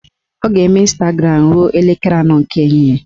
Ọ ga-eme Ịnstagram ruo elekere anọ nke ehihie